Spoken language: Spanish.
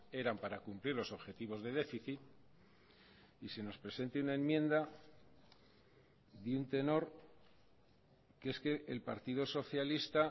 eran para cumplir los objetivos de déficit y se nos presente una enmienda de un tenor que es que el partido socialista